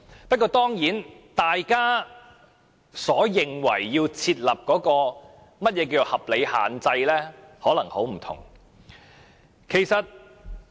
不過，大家所認為要設立的合理限制，可能有很大差異。